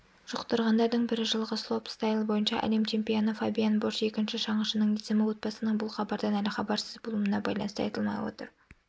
жұқтырғандардың бірі жылғы слоупстайл бойынша әлем чемпионы фабиан бош екінші шаңғышының есімі отбасының бұл хабардан әлі хабарсыз болуына байланысты айтылмай отыр